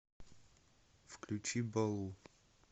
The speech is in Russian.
включи балу